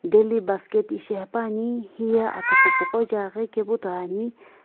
daily basket ishi haepa ni hota achughupu ja kaepu to ane.